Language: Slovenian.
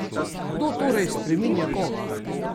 Kdo torej spreminja koga?